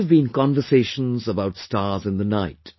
There must have been conversations about stars in the night